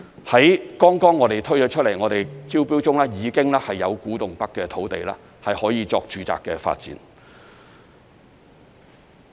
我們剛剛推出、正進行招標的土地中，已經有古洞北的土地可以用作住宅發展。